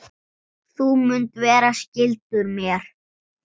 Þú munt vera skyldur mér.